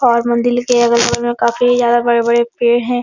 और मंदिर के अगल बगल में काफी ज्यादा बड़े बड़े पेड़ है ।